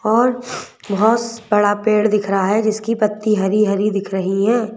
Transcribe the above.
और बहुत बड़ा पेड़ दिख रहा है जिसकी पत्ती हरी-हरी दिख रही हैं।